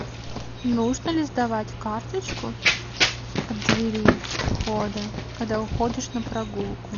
нужно ли сдавать карточку от двери входа когда уходишь на прогулку